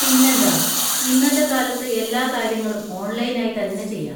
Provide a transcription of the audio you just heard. പിന്നെന്താ! ഇന്നത്തെ കാലത്ത് എല്ലാ കാര്യങ്ങളും ഓൺലൈൻ ആയി തന്നെ ചെയ്യാം.